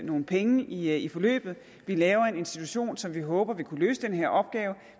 nogle penge i i forløbet vi laver en institution som vi håber vil kunne løse den her opgave